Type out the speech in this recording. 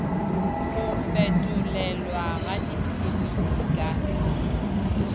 go fetolelwa ga diphemiti ka